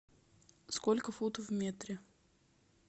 сколько футов в метре